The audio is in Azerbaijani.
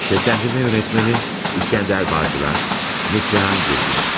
Səsləndirmə rejissoru: İskəndər Bağcılar, Neslihan Gürgün.